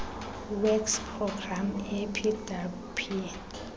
works programme epwp